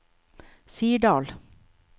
Sirdal